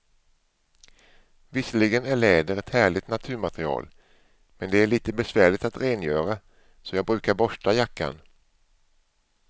Visserligen är läder ett härligt naturmaterial, men det är lite besvärligt att rengöra, så jag brukar borsta jackan.